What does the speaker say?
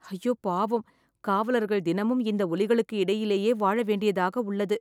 ஐயோ பாவம்.. காவலர்கள் தினமும் இந்த ஒலிகளுக்கு இடையிலேயே வாழ வேண்டியதாக உள்ளது